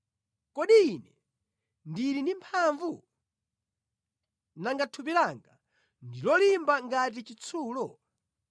Kodi ine ndili ndi mphamvu? Nanga thupi langa ndi lolimba ngati chitsulo?